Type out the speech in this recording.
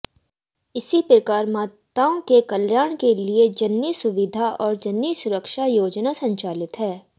इसी प्रकार माताओं के कल्याण के लिए जननी सुविधा और जननी सुरक्षा योजना संचालित है